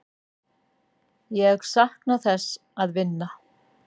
Ég sakna þess að vinna.